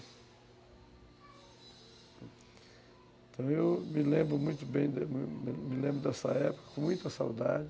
Então, eu me lembro muito bem dessa época, com muita saudade.